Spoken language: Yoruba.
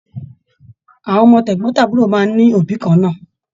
Àwọn ọmọ tegbọn-taburo máa n ní òbí kànnà.